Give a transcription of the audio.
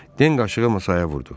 Den qaşığı masaya vurdu.